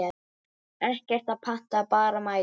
Ekkert að panta, bara mæta!